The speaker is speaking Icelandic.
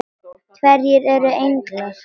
Hverjir eru englar?